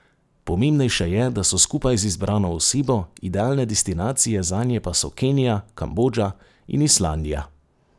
Pomembnejše je, da so skupaj z izbrano osebo, idealne destinacije zanje pa so Kenija, Kambodža in Islandija.